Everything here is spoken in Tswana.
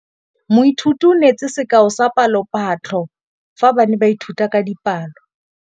Moithuti o neetse sekaô sa palophatlo fa ba ne ba ithuta dipalo.